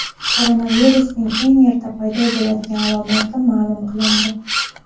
Koronavirusning eng erta paydo bo‘ladigan alomati ma’lum qilindi.